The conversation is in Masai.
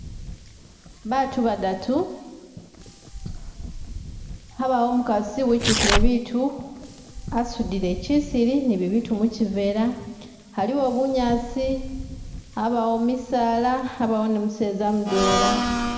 Bantu badatu, habawo umukasi wikyukile bintu, asudile kisilii ni bibintu mukibeela, haliwo bunyasi, habawa misaala, habawo ni museza mudwela